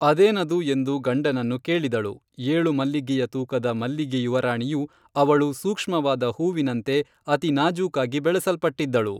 ಅದೇನದು ಎಂದು ಗಂಡನನ್ನು ಕೇಳಿದಳು ಏಳು ಮಲ್ಲಿಗೆಯ ತೂಕದ ಮಲ್ಲಿಗೆಯುವರಾಣಿಯು, ಅವಳು ಸೂಕ್ಷ್ಮವಾದ ಹೂವಿನಂತೆ ಅತಿನಾಜೂಕಾಗಿ ಬೆಳೆಸಲ್ಪಟ್ಟಿದ್ದಳು